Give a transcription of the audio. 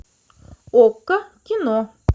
окко кино